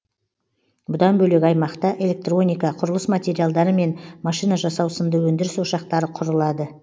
бұдан бөлек аймақта электроника құрылыс материалдары мен машина жасау сынды өндіріс ошақтары құрылады